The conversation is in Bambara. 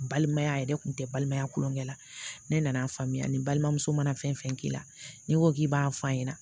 Balimaya a yɛrɛ kun tɛ balimaya kulonkɛ la ne nan'a faamuya ni balimamuso mana fɛn fɛn k'i la n'i ko k'i b'a f'a ɲɛna